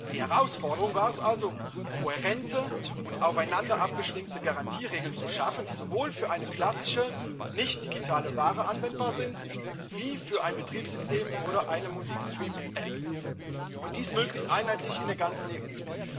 Die Herausforderung war es also, kohärente und aufeinander abgestimmte Garantieregeln zu schaffen, die sowohl auf eine klassische nicht digitale Ware anwendbar sind als auch auf ein Betriebssystem oder eine Musikstreaming App, und dies möglichst einheitlich in der ganzen EU.